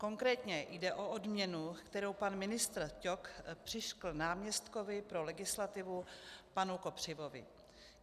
Konkrétně jde o odměnu, kterou pan ministr Ťok přiřkl náměstkovi pro legislativu panu Kopřivovi.